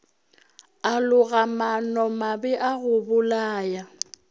a loga maanomabe a gobolaya